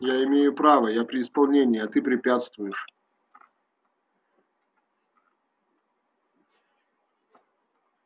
я имею право я при исполнении а ты препятствуешь